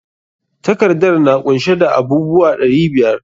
Takardar na kunshe da abub uwa ɗari biyar.